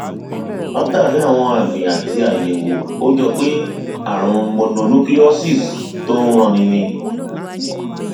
látàrí àwọn àmì àti àyẹwò ó jọ pé ààrùn mononucleosis tó ń ranni ni